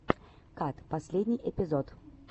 кат последний эпизод